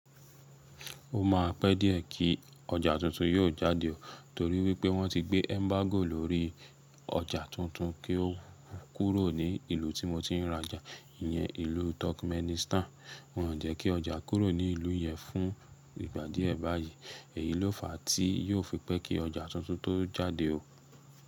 Ó máa pẹ́ díẹ̀ kí ọjà tuntun yóò jáde o torí wípé wọ́n ti gbé embargo lórí ọjà tuntun kí ó kúrò ní ìlú tí mo tiń rajà, ìyan ìlú Turkmenistan. Wọn ò jẹ́ kí ọjà kúrò ní ìlú yan fún ìgbà díẹ̀ báyí, èyí ló fa tí yóò fi pẹ́ kí ọjà tuntun tó jáde o.